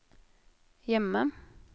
hjemme